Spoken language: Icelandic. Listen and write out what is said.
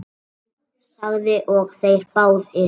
Jón þagði og þeir báðir.